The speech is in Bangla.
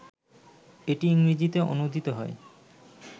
এটি ইংরেজিতে অনূদিত হয়